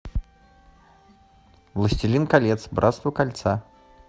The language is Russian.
властелин колец братство кольца